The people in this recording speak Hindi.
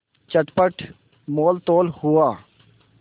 चटपट मोलतोल हुआ